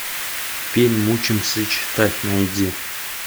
фильм учимся читать найди